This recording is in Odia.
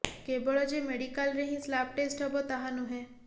କେବଳ ଯେ ମେଡିକାଲରେ ହିଁ ସ୍ଲାବ ଟେଷ୍ଟ ହେବ ତାହା ନୁହେଁ